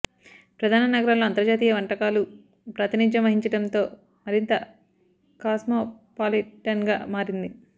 ప్రధాన నగరాల్లో అంతర్జాతీయ వంటకాలు ప్రాతినిధ్యం వహించడంతో మరింత కాస్మోపాలిటన్గా మారింది